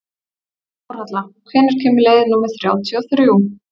Þórhalla, hvenær kemur leið númer þrjátíu og þrjú?